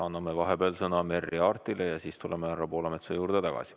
Anname vahepeal sõna Merry Aartile ja siis tuleme härra Poolametsa juurde tagasi.